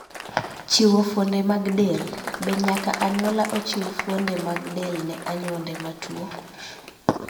Chiwo fuonde mag del: Be nyaka anyuola ochiw fuonde mag del ne anyuonde matuwo?